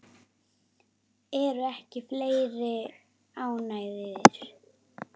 Eru ekki fleiri ánægðir?